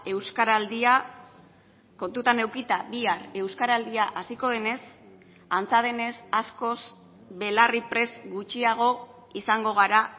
euskaraldia kontutan edukita bihar euskaraldia hasiko denez antza denez askoz belarriprest gutxiago izango gara